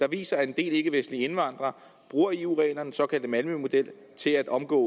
viser at en del ikkevestlige indvandrere bruger eu reglerne den såkaldte malmømodel til at omgå